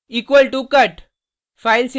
equal to cut